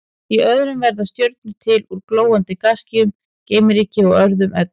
Í öðrum verða stjörnur til úr glóandi gasskýjum, geimryki og öðrum efnum.